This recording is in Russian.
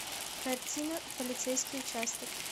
картина полицейский участок